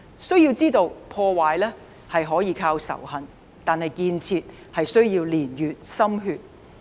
須知道，破壞可以靠仇恨，但建設卻須年月及心血。